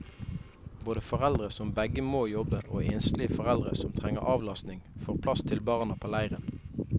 Både foreldre som begge må jobbe og enslige foreldre som trenger avlastning, får plass til barna på leiren.